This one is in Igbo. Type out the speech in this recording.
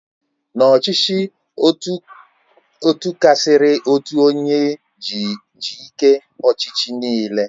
N'ọchịchị Ọtokrasi otu onye ji ike ọchịchị nịịle